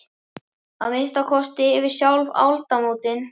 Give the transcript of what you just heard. Að minnsta kosti yfir sjálf aldamótin.